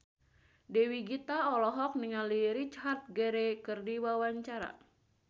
Dewi Gita olohok ningali Richard Gere keur diwawancara